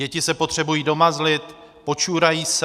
Děti se potřebují domazlit, počurají se.